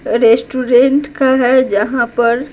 restaurant का है जहाँ पर--